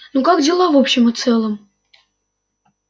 ну как дела в общем и целом